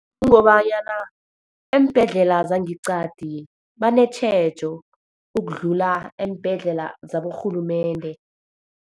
Kungobanyana eembhedlela zangeqadi, banetjhejo ukudlula eembhedlela zaborhulumende.